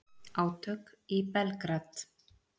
Átök í Belgrad